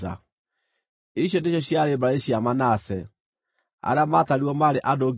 Icio nĩcio ciarĩ mbarĩ cia Manase, arĩa maatarirwo maarĩ andũ 52,700.